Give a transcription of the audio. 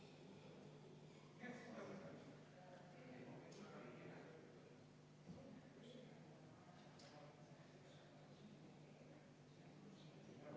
Selle on esitatud Sotsiaaldemokraatliku Erakonna fraktsioon ja juhtivkomisjon on arvestanud täielikult.